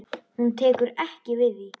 Hún tekur ekki við því.